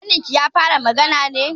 Ƙaninki ya fara magana ne?